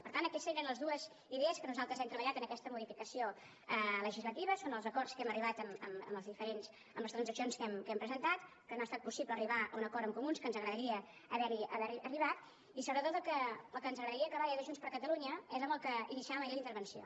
per tant aquestes eren les dues idees que nosaltres hem treballat en aquesta modificació legislativa són els acords a què hem arribat amb les transaccions que hem presentat que no ha estat possible arribar a un acord amb comuns que ens agradaria haver hi arribat i sobretot el que ens agradaria acabar des de junts per catalunya és amb el que iniciàvem ahir la intervenció